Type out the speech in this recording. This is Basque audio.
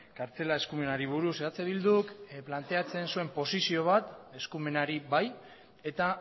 kartzela eskumenari buruz eh bilduk planteatzen zuen posizio bat eskumenari bai eta